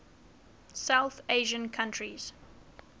south asian countries